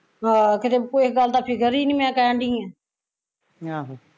ਆਹ ਤੇ ਕਿਤੇ ਕੋਈ ਗੱਲ ਦੀ ਫਿਕਰ ਈ ਨੀ ਮੈਂ ਕਹਿਣ ਡਈ ਆ